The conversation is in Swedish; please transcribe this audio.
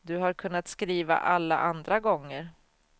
Du har kunnat skriva alla andra gånger.